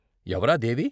ఎవరా దేవి?